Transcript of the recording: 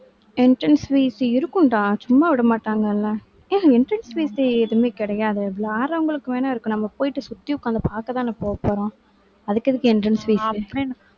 entrance fees இருக்கும்டா, சும்மா விட மாட்டாங்கல்ல. ஏய், entrance fees எதுவுமே கிடையாதே. விளையாடுறவங்களுக்கு வேணா இருக்கும். நம்ம போயிட்டு, சுத்தி உட்கார்ந்து பார்க்கத்தானே, போகப்போறோம். அதுக்கு எதுக்கு, entrance fees